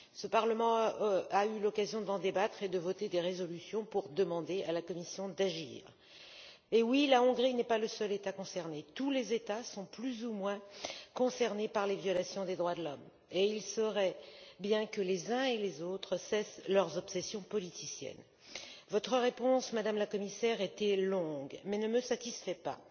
Ce Parlement a eu l'occasion d'en débattre et de voter des résolutions pour demander à la Commission d'agir. Effectivement, la Hongrie n'est pas le seul État concerné, tous les États sont plus ou moins concernés par les violations des droits de l'homme, et il serait bien que les uns et les autres cessent leurs obsessions politiciennes. Votre réponse, Madame la Commissaire, était longue, mais ne me satisfait pas.